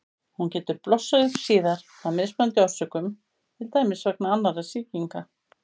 Hún getur blossað upp síðar af mismunandi orsökum, til dæmis vegna annarra sýkinga.